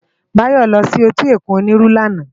Bayo lò si éti ókún Oniru làná